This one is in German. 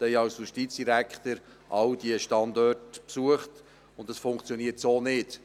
Ich habe als Justizdirektor alle diese Standorte besucht, und es funktioniert so nicht.